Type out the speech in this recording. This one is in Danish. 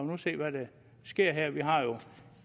nu se hvad der sker her vi har jo